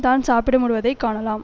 தான் சாப்பிட முடிவதைக் காணலாம்